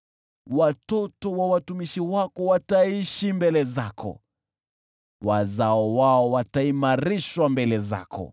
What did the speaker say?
Watoto wa watumishi wako wataishi mbele zako; wazao wao wataimarishwa mbele zako.”